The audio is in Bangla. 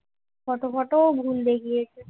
ফটো ফটো ও ভুল দেখিয়েছে